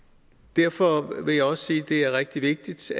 derfor vil jeg også sige at det er rigtig vigtigt